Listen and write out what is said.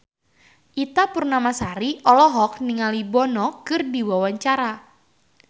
Ita Purnamasari olohok ningali Bono keur diwawancara